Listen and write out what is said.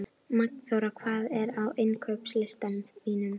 Magnþóra, hvað er á innkaupalistanum mínum?